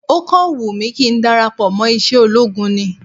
Ó kàn wùn mí kí n darapọ̀ mọ́ iṣẹ́ ológun ni